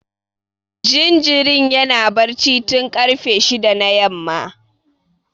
Jinjirin yana barci tun karfe shida na yamma